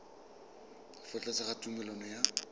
fa tlase ga tumalano ya